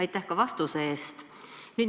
Aitäh ka vastuse eest!